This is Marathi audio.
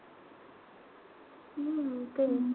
हम्म तेच.